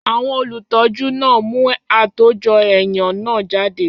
Àwọn olùtọ́jú náà mú àtòjọ-ẹ̀yàn náà jáde.